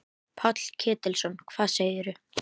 Páll Ketilsson: Hvað segirðu?